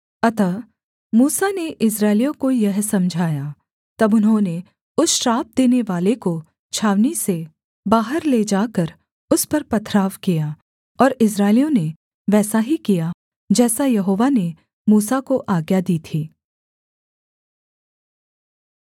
अतः मूसा ने इस्राएलियों को यह समझाया तब उन्होंने उस श्राप देनेवाले को छावनी से बाहर ले जाकर उस पर पथराव किया और इस्राएलियों ने वैसा ही किया जैसा यहोवा ने मूसा को आज्ञा दी थी